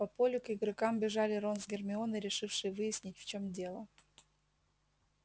по полю к игрокам бежали рон с гермионой решившие выяснить в чём дело